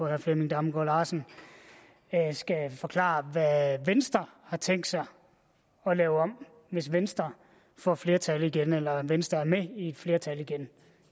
herre flemming damgaard larsen skal forklare hvad venstre har tænkt sig at lave om hvis venstre får flertal igen eller venstre er med i et flertal igen